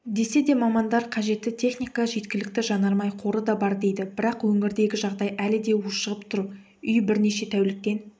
десе де мамандар қажетті техника жеткілікті жанармай қоры да бар дейді бірақ өңірдегі жағдай әлі де уышығып тұр үй бірнеше тәуліктен